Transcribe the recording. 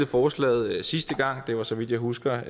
forslaget sidste gang det var så vidt jeg husker